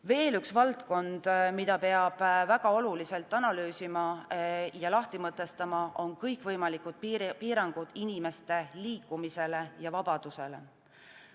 Veel üks valdkond, mida peab väga oluliselt analüüsima ja lahti mõtestama, on kõikvõimalikud piirangud inimeste liikumisele ja vabadusele.